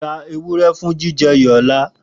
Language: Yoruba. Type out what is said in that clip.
Ra ewurẹ fun akọle mu ọla!